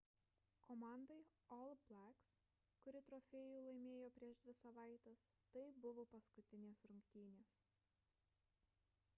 komandai all blacks kuri trofėjų laimėjo prieš dvi savaites tai buvo paskutinės rungtynės